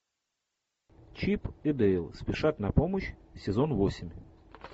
чип и дейл спешат на помощь сезон восемь